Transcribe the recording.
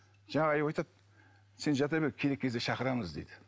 жаңағы аю айтады сен жата бер керек кезде шақырамыз дейді